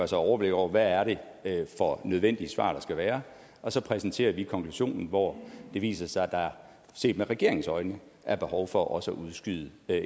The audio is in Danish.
sig overblik over hvad det er for nødvendige svar der skal være og så præsenterer vi konklusionen hvor det viser sig at der set med regeringens øjne er behov for også at udskyde